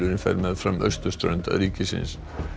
fer meðfram austurströnd ríkisins